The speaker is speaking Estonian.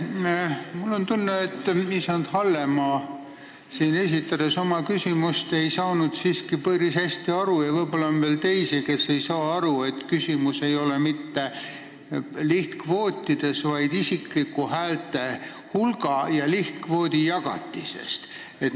Mul on tunne, et isand Hallemaa ei saanud siin oma küsimust esitades siiski päris hästi aru – ja võib-olla on veel teisi, kes ei saa aru –, et küsimus ei ole mitte lihtkvootides, vaid isikliku häältehulga ja lihtkvoodi jagatises.